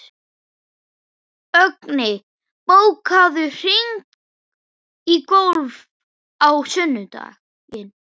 Högni, bókaðu hring í golf á sunnudaginn.